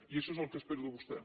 i això és el que espero de vostè